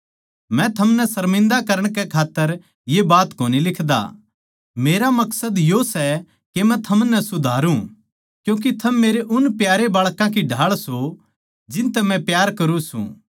मै थमनै सर्मिन्दा करण कै खात्तर ये बात कोनी लिखदा मेरा मकसद यो सै के मै थमनै सुधारु क्यूँके थम मेरे उन प्यारे बाळकां की ढाळ सों जिनतै मै प्यार करुँ सूं